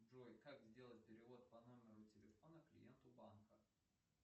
джой как сделать перевод по номеру телефона клиенту банка